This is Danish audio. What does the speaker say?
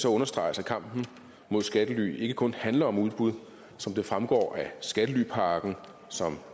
understreges at kampen mod skattely ikke kun handler om udbud som det fremgår af skattelypakken som